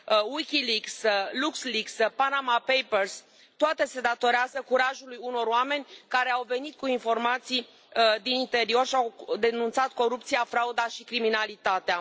Wikileaks, LuxLeaks, Panama Papers, toate se datorează curajului unor oameni care au venit cu informații din interior și au denunțat corupția, frauda și criminalitatea.